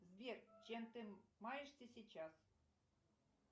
сбер чем ты маешься сейчас